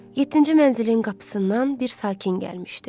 Yeddinci mənzilin qapısından bir sakin gəlmişdi.